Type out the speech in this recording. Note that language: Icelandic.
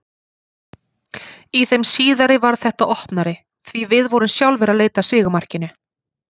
Í þeim síðari varð þetta opnari, því við vorum sjálfir að leita af sigurmarkinu.